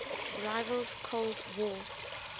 rival's cold war